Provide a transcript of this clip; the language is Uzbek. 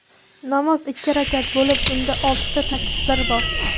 Namoz ikki rakat bo‘lib, unda oltita takbir bor.